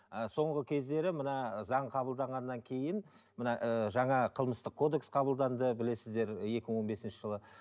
ыыы соңғы кездері мына заң қабылданғаннан кейін мына ыыы жаңа қылмыстық кодекс қабылданды білесіздер екі мың он бесінші жылы